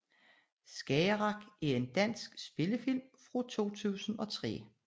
Skagerrak er en dansk spillefilm fra 2003